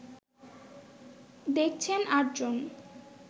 দেখছেন ৮ জন